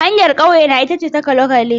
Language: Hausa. Hanyar kauyena ita ce ta kwale-kwale.